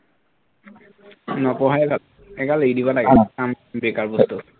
নপঢ়াই ভাল সেইগাল এৰি দিব লাগে বেকাৰ বস্তু